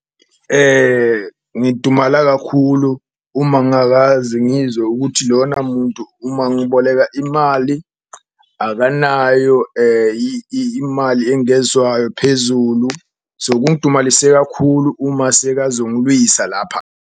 Ngidumala kakhulu uma ngakaze ngizwe ukuthi lona muntu uma ngiboleka imali akanayo imali engezwayo phezulu, so kungidumalise kakhulu uma sekazongilwisa lapha.